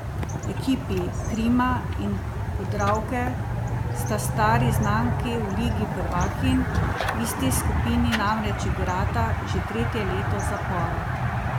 Ekipi Krima in Podravke sta stari znanki v ligi prvakinj, v isti skupini namreč igrata že tretje leto zapored.